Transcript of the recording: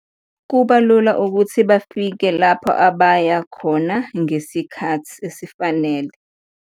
Kuba lula ukuthi bafike lapha abaya khona ngesikhathi esifanele.